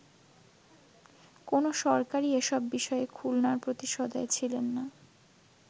কোন সরকারই এসব বিষয়ে খুলনার প্রতি সদয় ছিলেননা”।